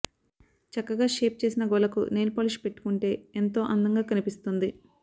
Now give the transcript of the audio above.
చక్కగా షేప్ చేసిన గోళ్లకు నెయిల్ పాలిష్ పెట్టుకుంటే ఎంతో అందంగా కనిపిస్తుంది